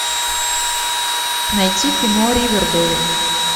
найти кино ривердэйл